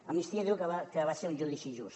amnistia diu que va ser un judici just